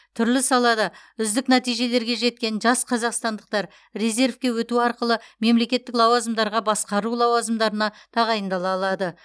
түрлі салада үздік нәтижелерге жеткен жас қазақстандықтар резервке өту арқылы мемлекеттік лауазымдарға басқару лауазымдарына тағайындала алады